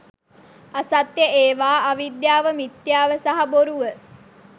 අසත්‍ය ඒවා අවිද්‍යාව මිත්‍යාව සහ බොරුව